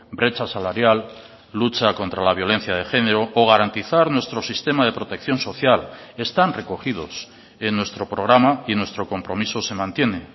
brecha salarial lucha contra la violencia de género o garantizar nuestro sistema de protección social están recogidos en nuestro programa y nuestro compromiso se mantiene